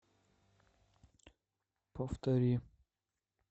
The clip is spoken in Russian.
повтори